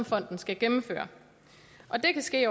fonden skal gennemføre og det kan ske